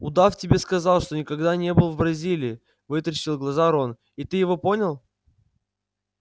удав тебе сказал что никогда не был в бразилии вытаращил глаза рон и ты его понял